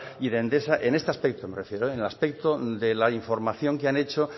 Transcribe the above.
ni de endesa en este aspecto me refiero en el aspecto de la información que han hecho